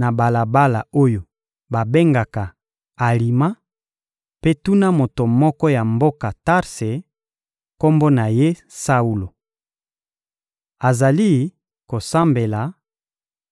na balabala oyo babengaka «Alima» mpe tuna moto moko ya mboka Tarse, kombo na ye «Saulo.» Azali kosambela